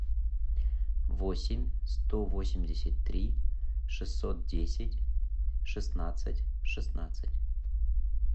восемь сто восемьдесят три шестьсот десять шестнадцать шестнадцать